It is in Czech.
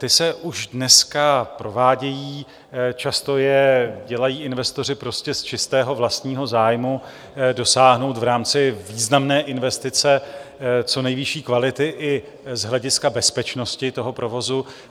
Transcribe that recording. Ty se už dneska provádějí, často je dělají investoři prostě z čistého vlastního zájmu dosáhnout v rámci významné investice co nejvyšší kvality i z hlediska bezpečnosti toho provozu.